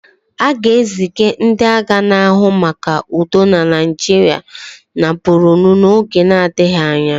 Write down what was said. A ga-eziga ndị agha na-ahụ maka udo na Naịjirịa na Bornu n'oge adịghị anya.